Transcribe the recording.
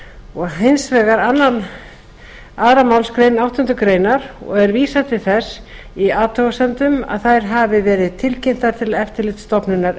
og hins vegar önnur málsgrein áttundu greinar og er vísað til þess í athugasemdum að þær hafi verið tilkynntar til eftirlitsstofnunar